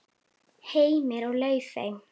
Heimir og Laufey.